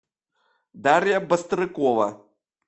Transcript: дарья бастрыкова